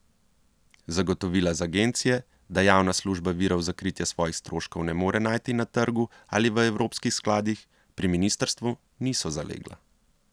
Zagotovila z agencije, da javna služba virov za kritje svojih stroškov ne more najti na trgu ali v evropskih skladih, pri ministrstvu niso zalegla.